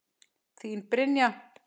Þín, Brynja.